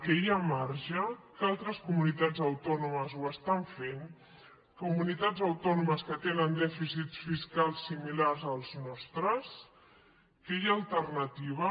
que hi ha marge que altres comunitats autònomes ho estan fent comunitats autònomes que tenen dèficits fiscals similars als nostres que hi ha alternativa